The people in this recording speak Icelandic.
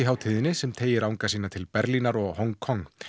hátíðinni sem teygir anga sína til Berlínar og Hong Kong